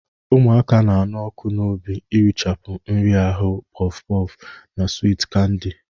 Ụmụaka na-anụ ọkụ n'obi irichapụ nhịahụ porff porff na swiiti kandi.